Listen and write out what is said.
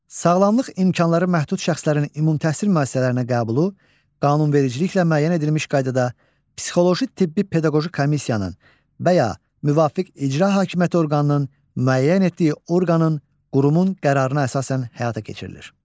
Sağlamlıq imkanları məhdud şəxslərin ümumi təhsil müəssisələrinə qəbulu qanunvericiliklə müəyyən edilmiş qaydada psixoloji tibbi-pedaqoji komissiyanın və ya müvafiq icra hakimiyyəti orqanının müəyyən etdiyi orqanın, qurumun qərarına əsasən həyata keçirilir.